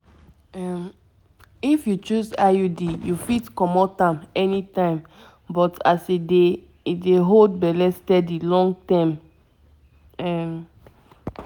if you choose iud you fit comot am anytime but as e dey e dey hold belle steady long term um